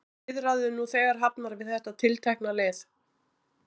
Eru viðræður nú þegar hafnar við þetta tiltekna lið?